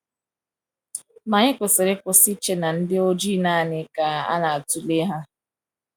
Ma anyị kwesịrị ịkwụsị iche na ndị ojii naanị ka e na-atụle ha.